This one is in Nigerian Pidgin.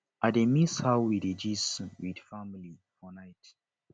i dey miss how we dey gist with family for night